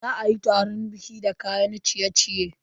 Za a iya taran baƙi da kayan ciye-ciye.